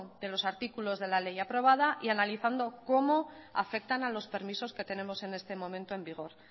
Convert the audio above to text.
de los artículos de la ley aprobada y analizando cómo afectan a los permisos que tenemos en este momento en vigor